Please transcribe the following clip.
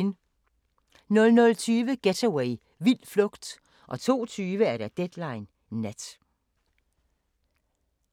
00:20: Getaway – vild flugt 02:20: Deadline Nat